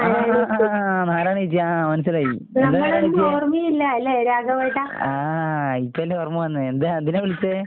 ആഹ് ആഹ് ആഹ് നാരായണിയേച്ചി ആ മനസ്സിലായി. ആഹ് ഇപ്പയല്ലേ ഓർമ്മ വന്നേ. എന്താ എന്തിനാ വിളിച്ചേ?